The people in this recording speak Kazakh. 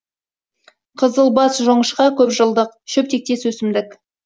қызылбас жоңышқа көп жылдық шөп тектес өсімдік